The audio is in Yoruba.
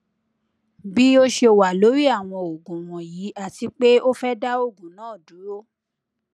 bi o ṣe wa lori awọn oogun wọnyi ati pe o fẹ da oogun naa duro